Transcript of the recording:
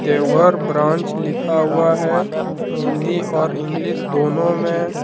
Deoghar branch लिखा हुआ है हिंदी और इंग्लिश दोनों में।